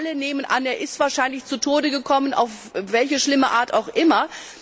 Alle nehmen an, dass er wahrscheinlich zu Tode gekommen ist, auf welche schlimme Art auch immer.